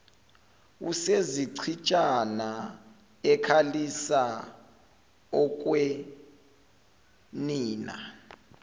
usezichitshana ekhalisa okwenina